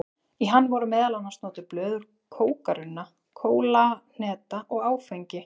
Í hann voru meðal annars notuð blöð úr kókarunna, kólahneta og áfengi.